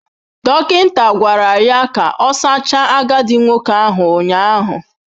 Dọkịta gwara ya ka ọ sachaa agadi nwoke ahụ ụnyaahụ.